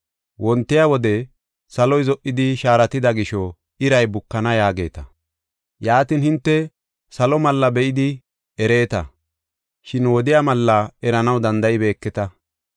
Wontiya wode, ‘Saloy zo77idi shaaratida gisho iri bukana’ yaageeta. Yaatin hinte salo mallaa be7idi ereeta, shin wodiya malla eranaw danda7ibeeketa.